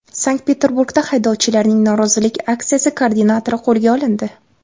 Sankt-Peterburgda haydovchilarning norozilik aksiyasi koordinatori qo‘lga olindi.